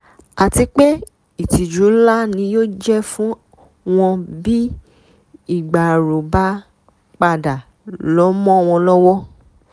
àti pé ìtìjú ńlá ni yóò jẹ́ fún wọn bí ìgbárò bá padà lọ mọ́ wọn lọ́wọ́